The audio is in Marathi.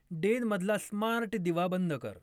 डेन मधला स्मार्ट दिवा बंद कर